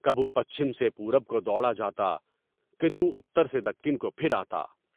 کبھو پچھم سے پورب کو دوڑا جاتا، کدھو اتر سے دکن کو پھر آتا۔